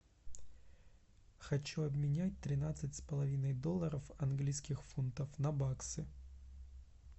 хочу обменять тринадцать с половиной долларов английских фунтов на баксы